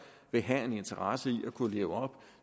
vil have en interesse i at kunne leve op